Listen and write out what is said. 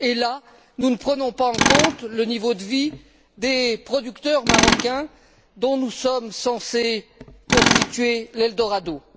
Et là, nous ne prenons pas en compte le niveau de vie des producteurs marocains dont nous sommes censés constituer l'eldorado.